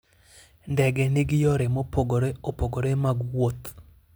Ndege nigi yore mopogore opogore mag wuoth.